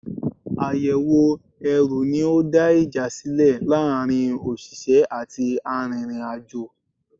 Àyẹ̀wò ẹrù ní ó dá ìjà sílẹ̀ láàárín òṣìṣẹ́ àti arìnrìn-àjò.